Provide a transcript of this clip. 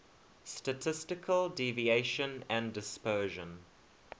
statistical deviation and dispersion